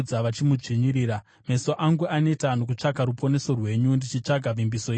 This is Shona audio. Meso angu aneta nokutsvaka ruponeso rwenyu, ndichitsvaga vimbiso yenyu yakarurama.